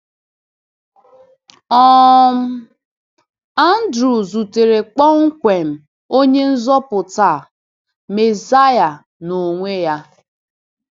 um Andrew zutere kpọmkwem Onye-Nzọpụta a, Messiah n’onwe-ya!